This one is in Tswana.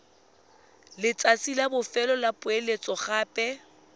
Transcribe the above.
letsatsi la bofelo la poeletsogape